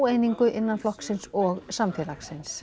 að óeiningu innan flokksins og samfélagsins